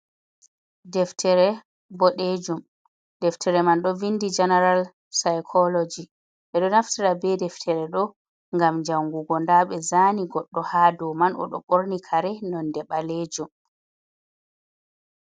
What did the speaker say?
Deftere boɗejum deftere man ɗo vindi jeneral psykology, ɓeɗo naftara be deftere ɗo gam jangugo nda ɓe zani goɗɗo hadow man oɗo borni kare nonde ɓalejum.